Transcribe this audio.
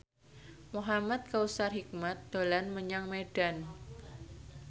Muhamad Kautsar Hikmat dolan menyang Medan